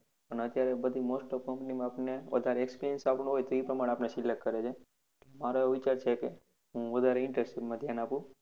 પણ અત્યારે બધી most of company આપણને વધારે experience આપણો હોય તો એ પ્રમાણે આપણને select કરે છે મ મારો એવો વિચાર છે કે હું internship માં વધારે ધ્યાન આપું